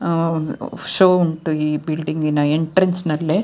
ಆಹ್ಹ್ show ಉಂಟು ಈ building ನ ಎಂಟ್ರೆನ್ಸ್ ಅಲ್ಲೇ --